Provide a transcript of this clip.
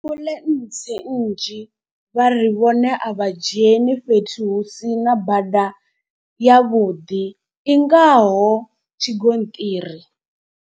Ambuḽentse nnzhi vha ri vhone a vha dzheni fhethu hu si na bada ya vhuḓi i ngaho tshigonṱiri.